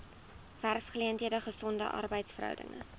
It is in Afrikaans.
werksgeleenthede gesonde arbeidsverhoudinge